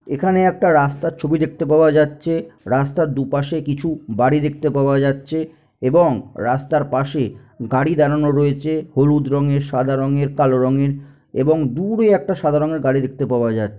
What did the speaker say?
একটি রাস্তার ছবি দেখতে পাওয়া যাচ্ছে রাস্তার দুপাশে কিছু বাড়ি দেখতে পাওয়া যাচ্ছে এবং রাস্তার পাশে গাড়ি দাঁড়ানো রয়েছে হলুদ রঙের সাদা রঙের কালো রঙের এবং দূরে একটা সাদা রঙের গাড়ি দেখতে পাওয়া যা--